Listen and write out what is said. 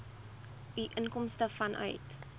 u inkomste vanuit